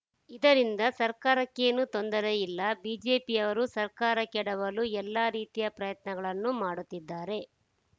ಇದರಿಂದ ಸರ್ಕಾರಕ್ಕೇನೂ ತೊಂದರೆ ಇಲ್ಲ ಬಿಜೆಪಿಯವರು ಸರ್ಕಾರ ಕೆಡವಲು ಎಲ್ಲ ರೀತಿಯ ಪ್ರಯತ್ನಗಳನ್ನೂ ಮಾಡುತ್ತಿದ್ದಾರೆ